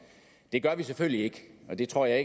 det gør vi selvfølgelig ikke og det tror jeg